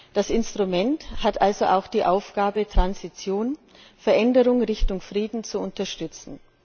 Das Instrument hat also auch die Aufgabe, Transition Veränderung in Richtung Frieden zu unterstützen.